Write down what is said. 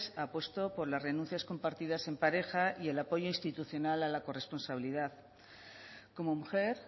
apuesto por las renuncias compartidas en pareja y el apoyo institucional a la corresponsabilidad como mujer